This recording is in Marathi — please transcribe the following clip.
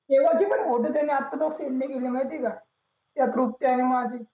तेव्हाची पण होती त्यांनी आत्ता पर्यंत send नाही केले माहितेय का त्या group च्या नि माझी